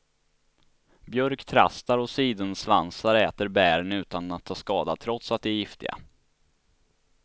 Björktrastar och sidensvansar äter bären utan att ta skada trots att de är giftiga.